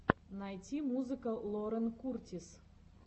найти музыка лорен куртис